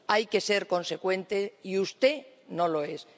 Hay que ser consecuente y usted no lo es.